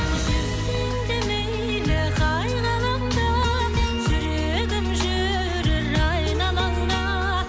жүрсең де мейлі қай ғаламда жүрегім жүрер айналаңда